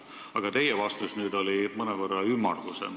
Aga teie vastus oli siiski mõnevõrra ümmargusem.